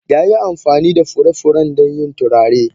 Ya yi amfani da furen furen don yin turare.